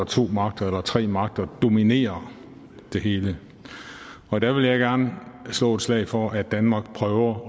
to magter eller tre magter dominerer det hele og der vil jeg gerne slå et slag for at danmark prøver